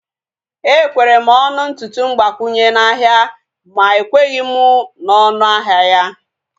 Ekwere m ọnụ ntutu mgbakwunye n'ahia ma ekweghị m na onu ahịa ya